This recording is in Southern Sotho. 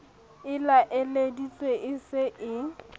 e laeleditsweng e se e